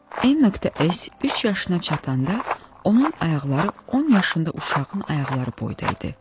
N.S üç yaşına çatanda, onun ayaqları 10 yaşında uşağın ayaqları boyda idi.